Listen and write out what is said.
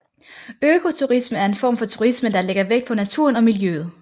Økoturisme er en form for turisme der lægger vægt på naturen og miljøet